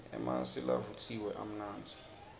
emasi lavutjiwe amnandzi